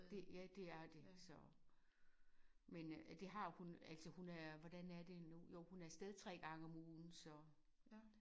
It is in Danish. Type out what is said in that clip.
Det ja det er det så. Men øh det har hun altså hun er det hvordan er det nu jo hun er afsted 3 gange om ugen så